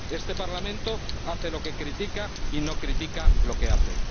Este Parlamento hace lo que critica y no critica lo que hace.